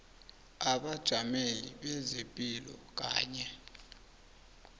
abajameli bezepilo kanye